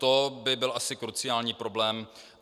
To by byl asi kruciální problém.